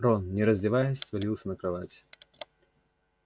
рон не раздеваясь свалился на кровать